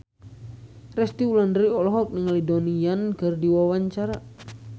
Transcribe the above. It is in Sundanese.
Resty Wulandari olohok ningali Donnie Yan keur diwawancara